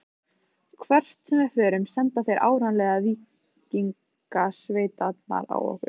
Hvert sem við förum senda þeir áreiðanlega víkingasveitirnar á okkur.